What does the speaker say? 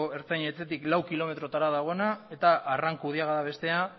ertzain etxetik lau kilometrotara dagoena eta arrankudiaga da bestea